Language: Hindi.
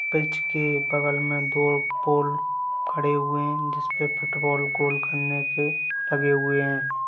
पिच के बगल मे दो पोल खड़े हुए हैं जिसपे फुटबॉल गोल करने के लगे हुए हैं।